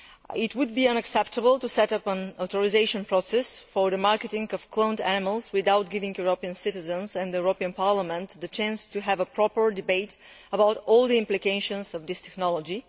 It would be unacceptable to set up an authorisation process for the marketing of cloned animals without giving European citizens and the European Parliament the chance to have a proper debate about all the implications of this technology.